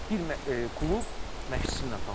Bir klub məşqçisi ilə tanınır.